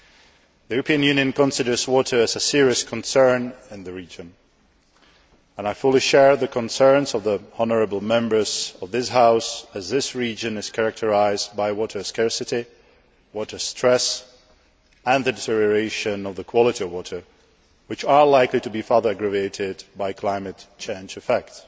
The European Union considers water to be a serious concern in the region and I fully share the concerns of the honourable Members of this House, as this region is characterised by water scarcity, water stress and the deterioration of the quality of water, which are likely to be further aggravated by climate change effects.